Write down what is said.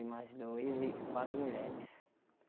E mais dois e quatro mulheres.